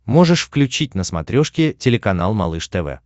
можешь включить на смотрешке телеканал малыш тв